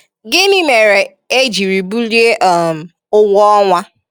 Gịnị mere e jiri bulie um ụgwọ ọnwa?